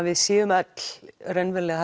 við séu öll raunverulega